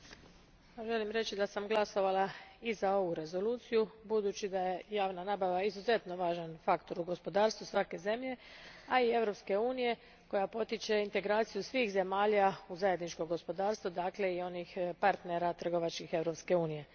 Gospodine predsjedniče, želim reći da sam glasovala i za ovu rezoluciju, budući da je javna nabava izuzetno važan faktor u gospodarstvu svake zemlje, a i Europske unije koja potiče integraciju svih zemalja u zajedničko gospodarstvo, dakle i onih partnera trgovačkih Europske unije.